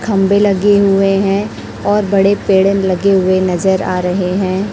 खंबे लगे हुए हैं और बड़े पेड़न लगे हुए नजर आ रहे हैं।